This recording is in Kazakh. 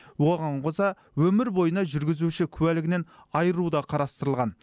оған қоса өмір бойына жүргізуші куәлігінен айыру да қарастырылған